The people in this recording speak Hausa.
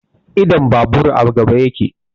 Idon babur a gaba yake